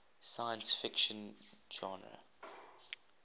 science fiction genre